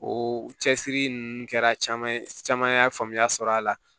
O cɛsiri ninnu kɛra caman ye faamuya sɔrɔ a la